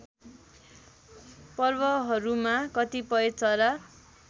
पर्वहरूमा कतिपय चरा